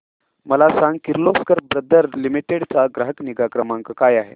मला सांग Kirloskar brother limited चा ग्राहक निगा क्रमांक काय आहे